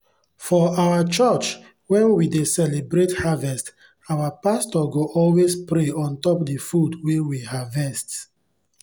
for our church when we dey celebrate harvest our pastor go always pray on top the food wey we harvest.